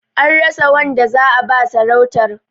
An rasa wanda za'a ba sarautar.